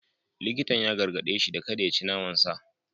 Likitan ya gargade shi da kada ya ci naman sa.